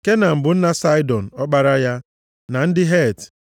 Kenan bụ nna Saịdọn, ọkpara ya, na ndị Het,